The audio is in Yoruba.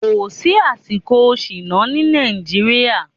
Kò sí àsìkò sínóò ní Nàìjíríà.